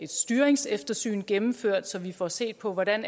styringseftersyn gennemført så vi får set på hvordan